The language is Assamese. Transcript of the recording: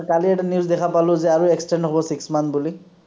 কালি এটা news দেখা পালো যে আৰু extend হব six months বুলি